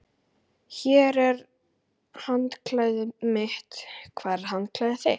Hér er handklæðið mitt. Hvar er handklæðið þitt?